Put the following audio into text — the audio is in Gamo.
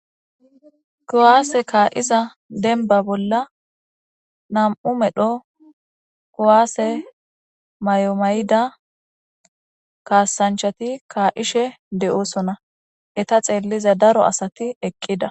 Kuwase ka'iza denba bolla nam'u medho kuwase mayo mayida kasanchati ka'ishe de'osona eta xeliza daro asati eqida